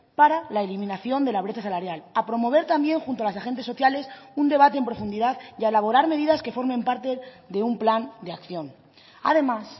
para la eliminación de la brecha salarial a promover también junto a las agentes sociales un debate en profundidad y a elaborar medidas que formen parte de un plan de acción además